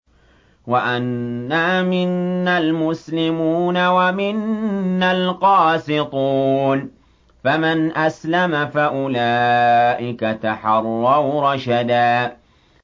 وَأَنَّا مِنَّا الْمُسْلِمُونَ وَمِنَّا الْقَاسِطُونَ ۖ فَمَنْ أَسْلَمَ فَأُولَٰئِكَ تَحَرَّوْا رَشَدًا